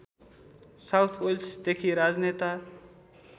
south वेल्सदेखि राजनेता